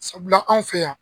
Sabula anw fɛ yan.